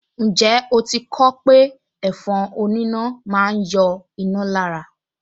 Ǹjẹ́ o ti kọ ọ́ pé ẹ̀fọn oníná máa ń yọ iná lára